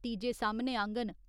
नतीजे सामने आङन।